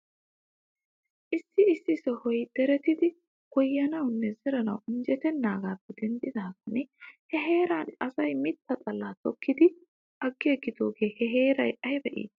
Issi issi sohoy deretidi goyyanawnne zeranaw injjetenaagaappe denddidaagan he heeran asay mitta xalla tokkidi agiigidoogee he heeray ayba iitii .